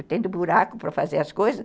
Eu tenho buraco para fazer as coisas.